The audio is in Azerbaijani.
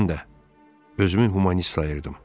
Mən də özümü humanist sayırdım.